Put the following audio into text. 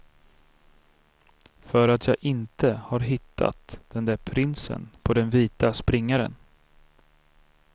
För att jag inte har hittat den där prinsen på den vita springaren.